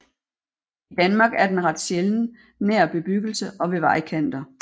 I Danmark er den ret sjælden nær bebyggelse og ved vejkanter